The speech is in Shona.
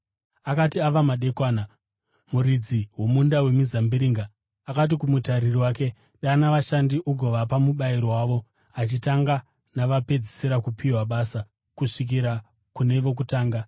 “Akati ava madekwana, muridzi womunda wemizambiringa akati kumutariri wake, ‘Dana vashandi ugovapa mubayiro wavo, uchitanga navapedzisira kupiwa basa kusvikira kune vokutanga.’